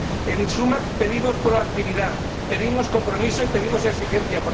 En suma, pedimos proactividad, pedimos compromiso y pedimos exigencia.